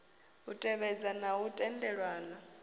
u tevhedza na u tendelana